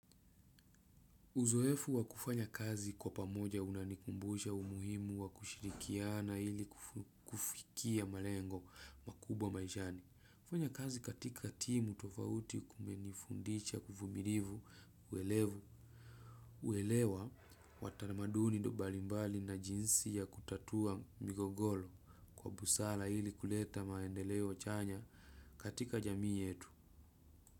Uzoefu wakufanya kazi kwa pamoja unanikumbusha umuhimu wakushirikiana ili kufikia malengo makubwa maishani. Kufanya kazi katika timu tofauti kumenifundisha kuvumirivu uelevu uelewa watanamaduni do balimbali na jinsi ya kutatua migogolo kwa busala ili kuleta maendeleo chanya katika jamii yetu.